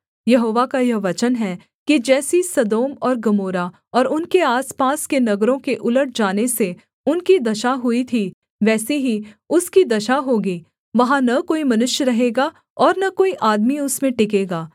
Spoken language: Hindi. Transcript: यहोवा का यह वचन है कि जैसी सदोम और गमोरा और उनके आसपास के नगरों के उलट जाने से उनकी दशा हुई थी वैसी ही उसकी दशा होगी वहाँ न कोई मनुष्य रहेगा और न कोई आदमी उसमें टिकेगा